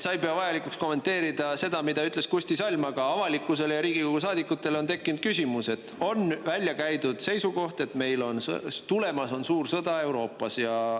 Sa ei pea vajalikuks kommenteerida seda, mida ütles Kusti Salm, aga avalikkusel ja Riigikogu saadikutel on tekkinud küsimus selle kohta, et on välja käidud seisukoht, et Euroopas on tulemas suur sõda.